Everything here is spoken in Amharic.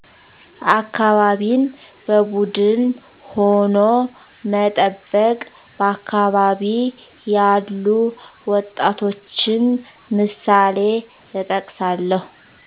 አካባቢን በቡድን ሁኖ መጠበቅ በአካባቢ ያሉ ወጣቶችንምሳሌእጠቅሳለሁ